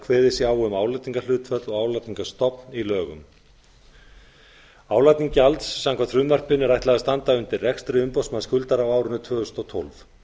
kveðið sé á um álagningarhlutföll og álagningarstofn í lögum álagningu gjalds samkvæmt frumvarpinu er ætlað að standa undir rekstri umboðsmanns skuldara á árinu tvö þúsund og tólf